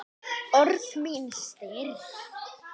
Orð mín stirð.